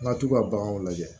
Nka tubabunɔgɔ lajɛ